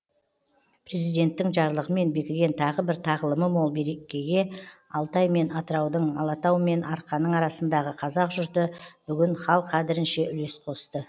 президенттің жарлығымен бекіген тағы бір тағылымы мол мерекеге алтай мен атыраудың алатау мен арқаның арасындағы қазақ жұрты бүгін хал қадірінше үлес қосты